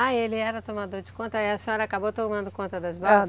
Ah, ele era tomador de conta e a senhora acabou tomando conta das balsas?